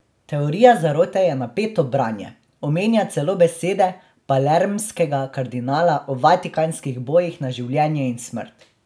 Teorija zarote je napeto branje, omenja celo besede palermskega kardinala o vatikanskih bojih na življenje in smrt.